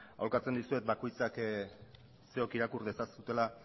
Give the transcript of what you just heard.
aholkatzen dizuet bakoitzak zuok irakur dezazuela